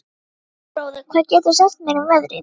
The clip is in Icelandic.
Gunnröður, hvað geturðu sagt mér um veðrið?